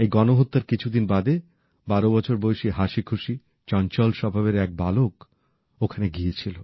এই গণহত্যার কিছুদিন বাদে বারো বছর বয়সী হাসিখুশি চঞ্চল স্বভাবের এক বালক ওখানে গিয়েছিল